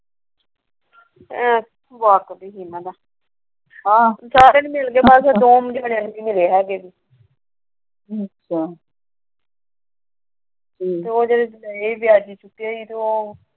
ਪੈਸੇ ਨਹੀਂ ਮਿਲਦੇ ਉਂਦੇ ਵਿੱਚ ਪਏ ਵਿਆਜੂ ਦਿੱਤੇ